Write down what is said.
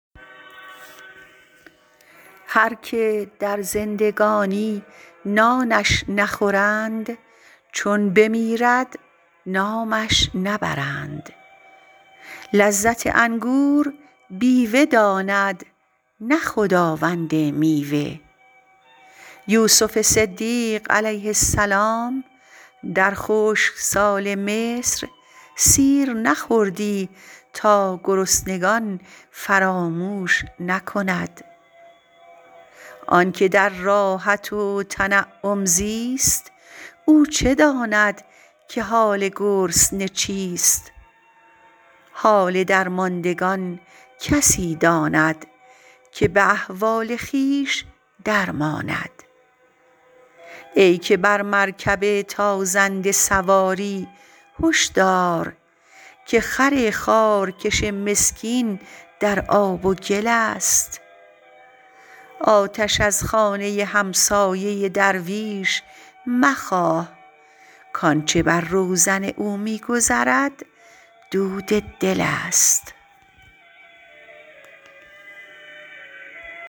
هر که در زندگانی نانش نخورند چون بمیرد نامش نبرند لذت انگور بیوه داند نه خداوند میوه یوسف صدیق علیه السلام در خشکسال مصر سیر نخوردی تا گرسنگان فراموش نکند آن که در راحت و تنعم زیست او چه داند که حال گرسنه چیست حال درماندگان کسی داند که به احوال خویش در ماند ای که بر مرکب تازنده سواری هش دار که خر خارکش مسکین در آب و گل است آتش از خانه همسایه درویش مخواه کآنچه بر روزن او می گذرد دود دل است